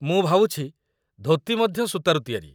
ମୁଁ ଭାବୁଛି, ଧୋତି ମଧ୍ୟ ସୂତାରୁ ତିଆରି